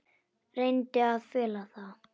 Reyndi að fela það.